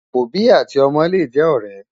òbí àti ómó lè jé òré